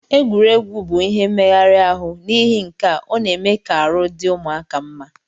Egwuregwu bu ihe meghari arụ nihi nkea ọna eme ka arụ di ụmụaka mma.